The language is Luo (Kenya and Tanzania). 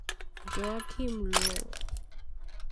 Joachim Low.